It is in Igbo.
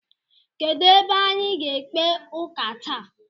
Kedụ ebe anyị ga-ekpe ụka taa?